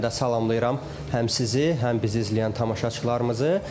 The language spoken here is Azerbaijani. Mən də salamlayıram həm sizi, həm bizi izləyən tamaşaçılarımızı.